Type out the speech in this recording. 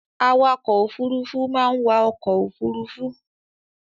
Awakọ̀-òfurufú máa ń wa ọkọ̀ ofurufú.